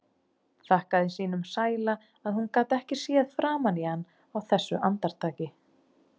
Þakkaði sínum sæla að hún gat ekki séð framan í hann á þessu andartaki.